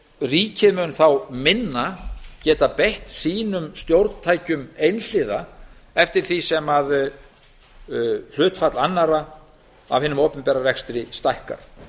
ríkið mun þá minna geta beitt sínum stjórntækjum einhliða eftir því sem hlutfall annarra af hinum opinbera rekstri stækkar